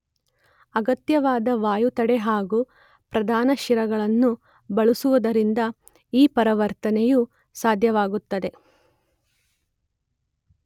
ಅಗತ್ಯವಾದ ವಾಯುತಡೆ ಹಾಗೂ ಪ್ರಧಾನ ಶಿರಗಳನ್ನು ಬಳಸುವುದರಿಂದ ಈ ಪರಿವರ್ತನೆಯು ಸಾಧ್ಯವಾಗುತ್ತದೆ.